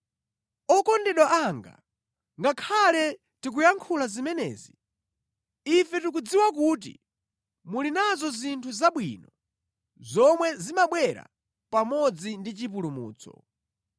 Okondedwa anga, ngakhale tikuyankhula zimenezi, ife tikudziwa kuti muli nazo zinthu zabwino zomwe zimabwera pamodzi ndi chipulumutso.